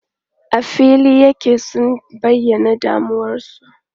A fili yake sun bayyana damuwarsu.